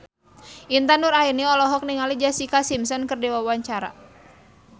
Intan Nuraini olohok ningali Jessica Simpson keur diwawancara